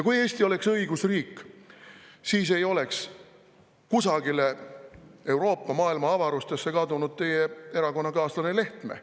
Kui Eesti oleks õigusriik, siis ei oleks kusagile Euroopa või maailma avarustesse kadunud teie erakonnakaaslane Lehtme.